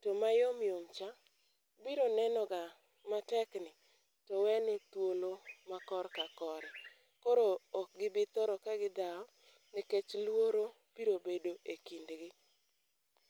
to mayom yom cha, biro nenoga matekni, to wene thuolo ma korka kore. Koro ok gibithoro ka gidhawo nikech luoro biro bedo e kindgi.